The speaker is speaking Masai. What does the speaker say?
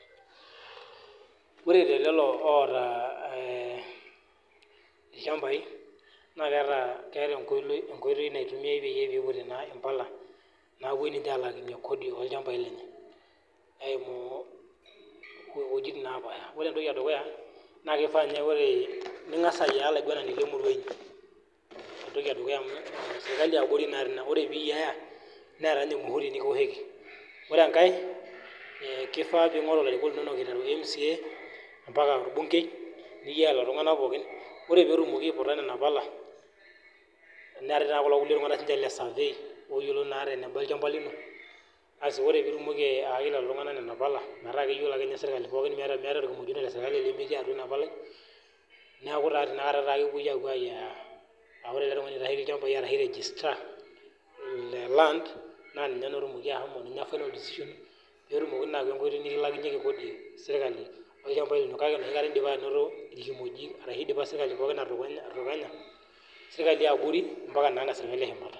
Ore te lelo otaa ilchambai naa keeta enkoitoi naitumiai pee eiputi mpalanapuoi alakinyie ninche Kodi olchambai lenye eyimu ewuejitin napasha ore ene dukuya naa kifaa ningas ayiataa olaiguanani lee murua enyi entoki edukuya amu sirkali yaa abori ena ore pee eyiaya Neeta ninye muhuri nikioshoki ore enkae kifaa pee engoru mca mbaka orbungei iltung'ana pookin ore pee etumoki aiputa Nena pala neetae sininye iltung'ana lee sirkali lee survey oyiolo eneba olchamba lino asi ore pee etumoki ayaki lelo tung'ana Nena pala metaa keyiolo ake ninye sirkali pookin meeta orkimojino lee sirkali lemetii atua ena palai neeku enakata epuoi ayiayaa aa ore ele tung'ani oitasheki ilchambai ashu registered lee land naa ninye atumoki ashomo pee etum ayawu enkoitoi nikilakinyie sirkali Kodi eno kake eidipa sirkali yabori atutukunya mbaka ene shumata